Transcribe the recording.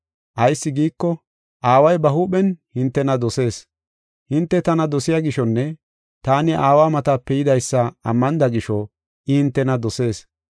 Ayis giiko, Aaway ba huuphen hintena dosees. Hinte tana dosiya gishonne taani Aawa matape yidaysa ammanida gisho, I hintena dosees.